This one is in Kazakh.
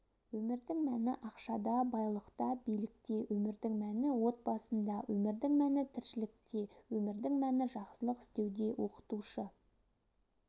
өмірдің мәні ақшада байлықта билікте өмірдің мәні отбасында өмірдің мәні тіршілікте өмірдің мәні жақсылық істеуде оқытушы